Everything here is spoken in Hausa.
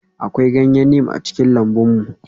Akwai ganyen neem a cikin lambun mu.